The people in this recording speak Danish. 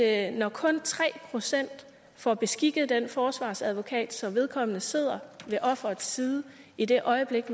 at når kun tre procent får beskikket en forsvarsadvokat så vedkommende sidder ved offerets side i det øjeblik